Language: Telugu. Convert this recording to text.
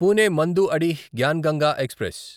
పూణే–మాండూడిహ్ జ్ఞాన్ గంగా ఎక్స్‌ప్రెస్